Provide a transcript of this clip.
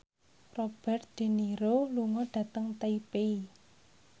Robert de Niro lunga dhateng Taipei